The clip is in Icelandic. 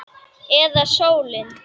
Eða sólin?